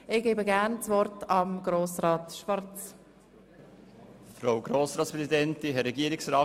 Ich erteile das Wort Grossrat Schwarz, dem Fraktionssprecher der EDU.